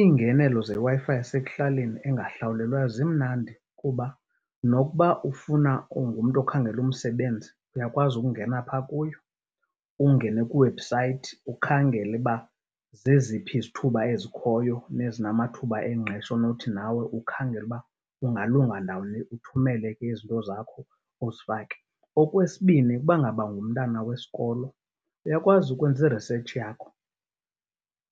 Iingenelo zeWi-Fi yasekuhlaleni engahlawulelwayo zimnandi kuba nokuba ufuna ungumntu okhangela umsebenzi, uyakwazi ukungena phaa kuyo, ungene kwi- website ukhangele uba zeziphi izithuba ezikhoyo nezinamathuba engqesho onothi nawe ukhangela uba ungalunga ndawoni, uthumele ke izinto zakho uzifake. Okwesibini, ukuba ngaba ngumtana wesikolo uyakwazi ukwenza i-research yakho